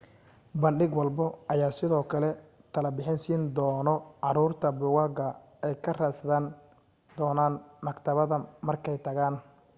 bandhig walbo ayaa sidoo kale talo bixin siin dono caruurta buugaga ay ka raadsan doonaan maktabada markay tagaan